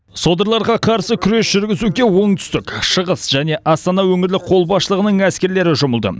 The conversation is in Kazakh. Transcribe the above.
содырларға қарсы күрес жүргізуге оңтүстік шығыс және астана өңірлік қолбасшылығының әскерлері жұмылды